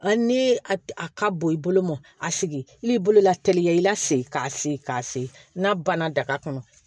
Hali ni a ka bon i bolo mɔn a sigi i bolo la teliya i la segin k'a se k'a se n'a banna daga kɔnɔ